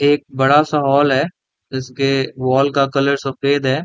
ये एक बड़ा -सा हॉल है इसके वॉल का कलर सफ़ेद हैं ।